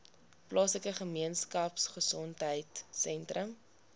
plaaslike gemeenskapgesondheid sentrum